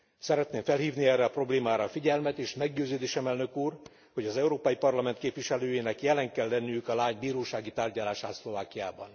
Szeretném felhívni erre a problémára a figyelmet, és meggyőződésem, Elnök úr, hogy az Európai Parlament képviselőinek jelen kell lenniük a lány bírósági tárgyalásán Szlovákiában.